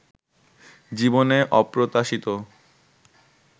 জীবনে অপ্রত্যাশিত